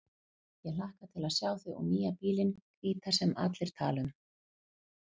Ég hlakka til að sjá þig og nýja bílinn hvíta sem allir tala um.